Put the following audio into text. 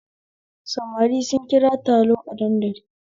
Samari sun kira a taro a dandali